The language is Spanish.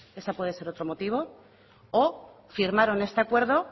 ese puede ser otro motivo o firmaron este acuerdo